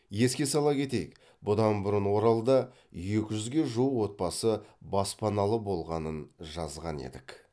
еске сала кетейік бұдан бұрын оралда екі жүзге жуық отбасы баспаналы болғанын жазған едік